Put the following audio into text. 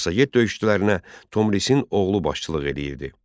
Massaget döyüşçülərinə Tomrisin oğlu başçılıq edirdi.